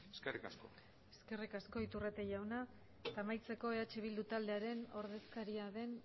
eskerrik asko eskerrik asko iturrate jauna eta amaitzeko eh bildu taldearen ordezkaria den